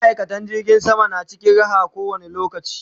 ma'aikatan jirgin sama na cikin Raha ko wani lokaci